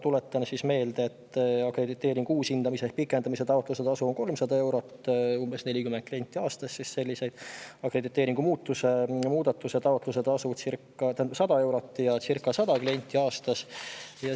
Tuletan meelde, et akrediteeringu uushindamise ehk pikendamise taotluse tasu on 300 eurot, umbes 40 klienti aastas, ja akrediteeringu muutmise taotluse tasu on 100 eurot – circa 100 klienti aastas.